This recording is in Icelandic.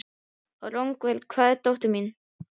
Rongvuð, hvar er dótið mitt?